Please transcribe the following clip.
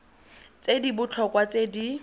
tse di botlhokwa tse di